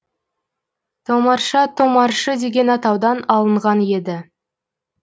томарша томаршы деген атаудан алынған еді